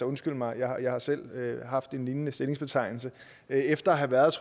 undskyld mig jeg har jeg har selv haft en lignende stillingsbetegnelse efter at have været